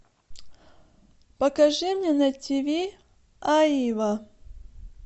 покажи мне на тв аива